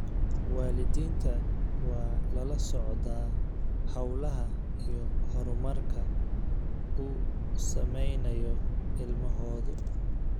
Waalidiinta waa lala socdaa hawlaha iyo horumarka uu samaynayo ilmahoodu.